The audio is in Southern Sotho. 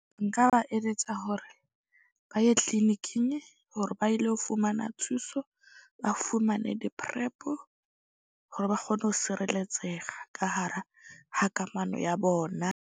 Nka ba eletsa hore ba ye clinic-ing hore ba ilo fumana thuso. Ba fumane di-PrEP-o hore ba kgone ho sireletsega ka hara ha kamano ya bona.